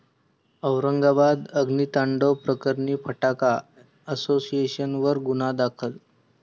औरंगाबाद अग्नितांडव प्रकरणी फटाका असोसिएशनवर गुन्हा दाखल